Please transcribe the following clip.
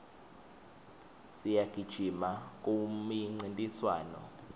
siyagijima kumincintiswano